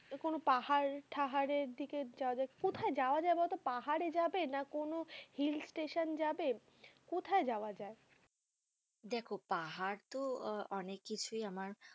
কোনো পাহাড় টাহার এর দিকে যাওয়া যাক, কোথায় যাওয়া যাই বোলো তো, পাহাড়ে যাবে, না কোনো hill station যাবে কোথায় যাওয়া যাই দেখো পাহাড় তো অনেক কিছু আমার।